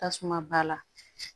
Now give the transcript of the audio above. Tasuma ba la